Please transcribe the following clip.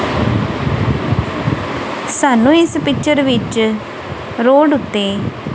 ਸਾਨੂੰ ਇਸ ਪਿਕਚਰ ਵਿੱਚ ਰੋਡ ਓੱਤੇ--